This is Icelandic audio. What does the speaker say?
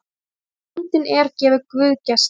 Eins og bóndinn er gefur guð gesti.